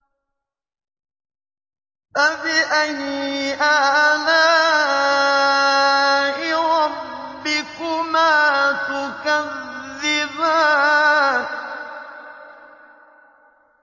فَبِأَيِّ آلَاءِ رَبِّكُمَا تُكَذِّبَانِ